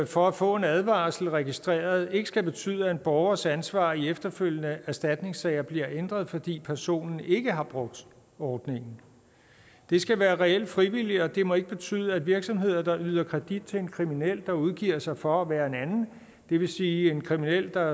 for at få en advarsel registreret ikke skal betyde at en borgers ansvar i efterfølgende erstatningssager bliver ændret fordi personen ikke har brugt ordningen det skal være reelt frivilligt og det må ikke betyde at virksomheder der yder kredit til en kriminel der udgiver sig for at være en anden det vil sige en kriminel der